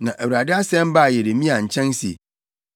Na Awurade asɛm baa Yeremia nkyɛn se,